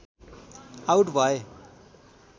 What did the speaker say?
out भए